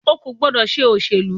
O ò gbọ́dọ̀ ṣe òṣèlú.